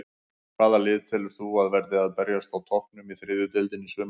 Hvaða lið telur þú að verði að berjast á toppnum í þriðju deildinni í sumar?